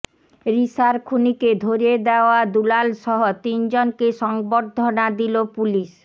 রিশার খুনিকে ধরিয়ে দেওয়া দুলালসহ তিনজনকে সংবর্ধনা দিলো পুলিশ